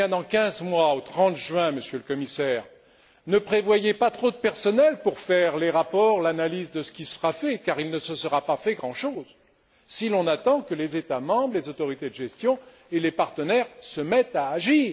Dans quinze mois, au 30 juin, Monsieur le Commissaire, ne prévoyez pas trop de personnel pour établir les rapports, l'analyse de ce qui sera fait, car il ne se sera pas fait grand chose si l'on attend que les États membres, les autorités de gestion et les partenaires se mettent à agir.